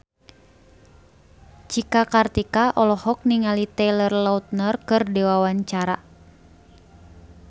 Cika Kartika olohok ningali Taylor Lautner keur diwawancara